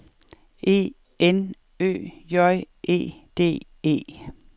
E N Ø J E D E